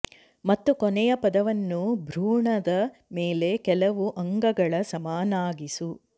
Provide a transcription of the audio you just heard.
ಮತ್ತು ಕೊನೆಯ ಪದವನ್ನು ಭ್ರೂಣದ ಮೇಲೆ ಕೆಲವು ಅಂಗಗಳ ಸಮನಾಗಿಸು